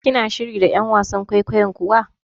Kina shiri da ƴan wasan kwaikwayon kuwa?